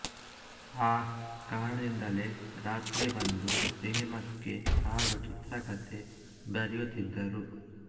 ಆ ಕಾರಣದಿಂದಲೇ ರಾತ್ರಿ ಬಂದು ಸಿನಿಮಾಕ್ಕೆ ಹಾಡು ಚಿತ್ರಕತೆ ಬರೆಯುತ್ತಿದ್ದರು